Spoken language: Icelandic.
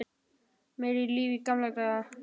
Meira líf í gamla daga?